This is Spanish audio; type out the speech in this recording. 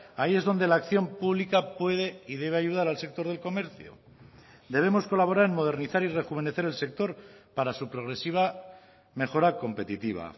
ahí es donde la acción pública puede y debe ayudar al sector del comercio debemos colaborar en modernizar y rejuvenecer el sector para su progresiva mejora competitiva